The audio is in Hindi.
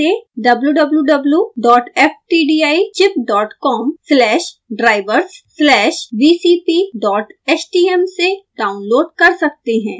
आप इसे wwwftdichipcom/drivers/vcphtm से डाउनलोड कर सकते हैं